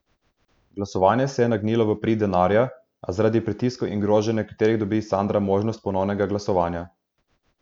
Glasovanje se je nagnilo v prid denarja, a zaradi pritiskov in groženj nekaterih dobi Sandra možnost ponovnega glasovanja.